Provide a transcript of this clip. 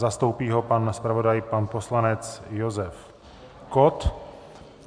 Zastoupí ho pan zpravodaj, pan poslanec Josef Kott.